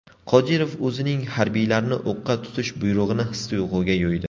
Qodirov o‘zining harbiylarni o‘qqa tutish buyrug‘ini his-tuyg‘uga yo‘ydi.